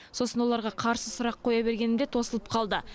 сосын оларға қарсы сұрақ қоя бергенімде тосылып қалды